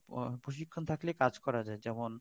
প প প্রশিক্ষন থাকলে কাজ করা যায় যেমন